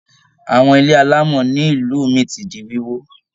Àwọn ilé alámọ̀ nílu mí tí di wíwó.